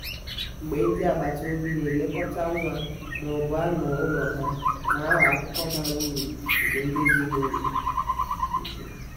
mgbe ndi agbata obi na-elekọta nwa ma ọ bụ anụ ụlọha na-aghọ akụkụ bara uru nke ndụ ezinụlọ ụ̀kwụ̀.